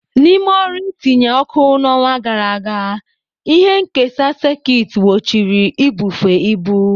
N'ime ọrụ itinye oku n'ọnwa gara aga, ihe nkesa sekit gbochiri ibufe ibu.